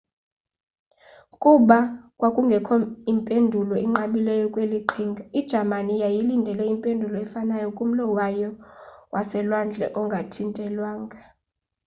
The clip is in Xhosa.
kuba kwakungekho impendulo inqabileyo kweli qhinga ijamani yayilindele impendulo efanayo kumlo wayo waselwandle ongathintelwanga